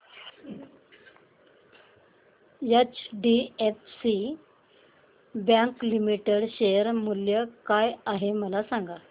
HDFC bank limited share मूल्य काय आहे मला सांगा